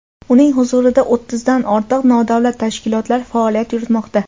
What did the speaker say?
uning huzurida o‘ttizdan ortiq nodavlat tashkilotlar faoliyat yuritmoqda.